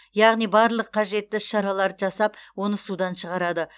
яғни барлық қажетті іс шараларды жасап оны судан шығарады